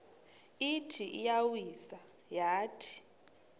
ithi iyawisa yathi